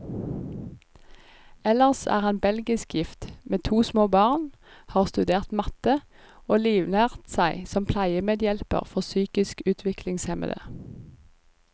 Ellers er han belgisk gift, med to små barn, har studert matte, og livnært seg som pleiemedhjelper for psykisk utviklingshemmede.